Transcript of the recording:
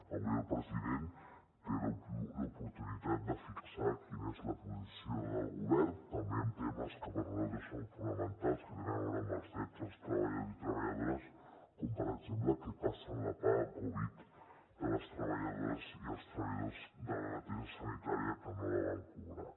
avui el president té l’oportunitat de fixar quina és la posició del govern també en temes que per a nosaltres són fonamentals que tenen a veure amb els drets dels treballadors i treballadores com per exemple què passa amb la paga covid de les treballadores i els treballadors de la neteja sanitària que no la van cobrar